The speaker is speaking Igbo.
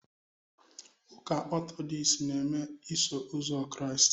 Ụka Ọtọdọks na-eme Iso Ụzọ Kraịst